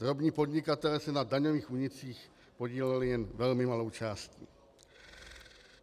Drobní podnikatelé se na daňových únicích podíleli jen velmi malou částí.